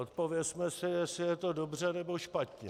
Odpovězme si, jestli je to dobře, nebo špatně.